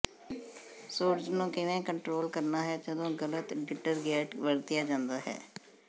suds ਨੂੰ ਕਿਵੇਂ control ਕਰਨਾ ਹੈ ਜਦੋਂ ਗਲਤ ਡਿਟਰਗੈਂਟ ਵਰਤਿਆ ਜਾਂਦਾ ਹੈ